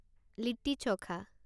litti chokha